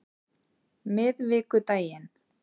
miðvikudaginn